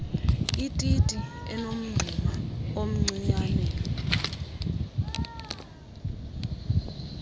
ititi enomngxuma omncianen